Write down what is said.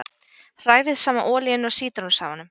Hrærið saman olíunni og sítrónusafanum.